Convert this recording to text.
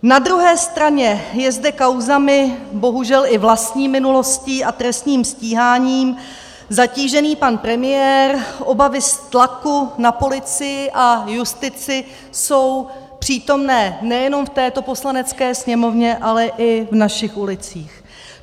Na druhé straně je zde kauzami, bohužel i vlastní minulostí a trestním stíháním zatížený pan premiér, obavy z tlaku na policii a justici jsou přítomné nejenom v této Poslanecké sněmovně, ale i v našich ulicích.